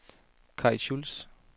Kaj Schulz